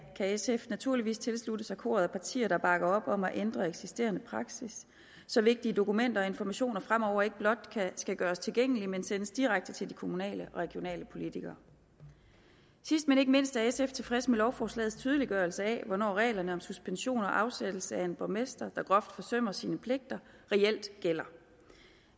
kan sf naturligvis tilslutte sig koret af partier der bakker op om at ændre eksisterende praksis så vigtige dokumenter og informationer fremover ikke blot skal gøres tilgængelige men sendes direkte til de kommunale og regionale politikere sidst men ikke mindst er sf tilfreds med lovforslagets tydeliggørelse af hvornår reglerne om suspension og afsættelse af en borgmester der groft forsømmer sine pligter reelt gælder